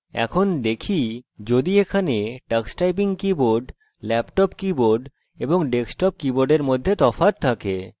এখন দেখি যদি এখানে tux typing keyboard laptop keyboard এবং desktop কীবোর্ডের মধ্যে তফাৎ থাকে